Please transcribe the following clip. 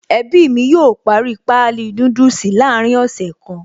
Ẹbí mi yóò parí páálí núdùsì láàrin ọ̀sẹ̀ kan.